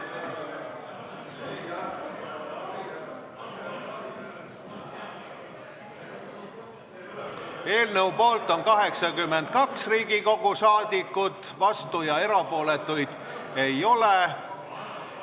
Hääletustulemused Eelnõu poolt on 82 Riigikogu liiget, vastuolijaid ja erapooletuid ei ole.